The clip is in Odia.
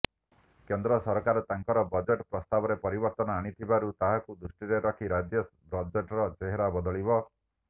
କେନ୍ଦ୍ର ସରକାର ତାଙ୍କର ବଜେଟ୍ ପ୍ରସ୍ତାବରେ ପରିବର୍ତ୍ତନ ଆଣିଥିବାରୁ ତାହାକୁ ଦୃଷ୍ଟିରେ ରଖି ରାଜ୍ୟ ବଜେଟ୍ର ଚେହେରା ବଦଳିବ